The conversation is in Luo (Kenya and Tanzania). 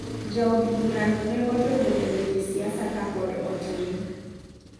Ja od bura no ne odonjo e weche siasa kapod otin.